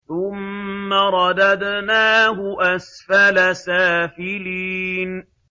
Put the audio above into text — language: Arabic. ثُمَّ رَدَدْنَاهُ أَسْفَلَ سَافِلِينَ